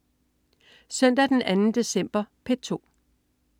Søndag den 2. december - P2: